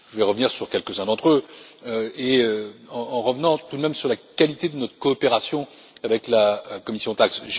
Je vais revenir sur quelques uns d'entre eux, en revenant tout de même sur la qualité de notre coopération avec la commission TAXE.